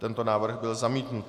Tento návrh byl zamítnut.